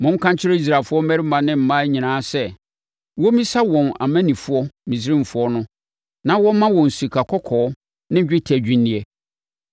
Monka nkyerɛ Israelfoɔ mmarima ne mmaa nyinaa sɛ, wɔmmisa wɔn amannifoɔ Misraimfoɔ no na wɔmma wɔn sikakɔkɔɔ ne dwetɛ adwinneɛ.”